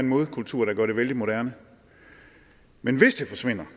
modkultur der gør det vældig moderne men hvis den forsvinder